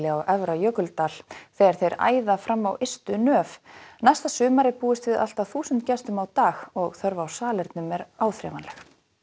á Efra Jökuldal þegar þeir æða fram á ystu nöf næsta sumar er búist við allt að þúsund gestum á dag og þörf á salernum er áþreifanleg